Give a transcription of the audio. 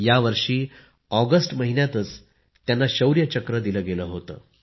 या वर्षी ऑगस्ट महिन्यातच त्यांना शौर्य चक्र दिले गेले होते